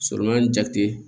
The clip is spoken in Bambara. Sɔrɔ in jate